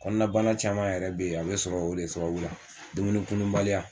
Kɔnɔnabana caman yɛrɛ be yen a be sɔrɔ o de sababu la dumuni kununbaliya